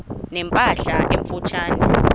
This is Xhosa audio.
ne mpahla emfutshane